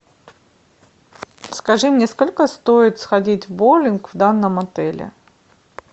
скажи мне сколько стоит сходить в боулинг в данном отеле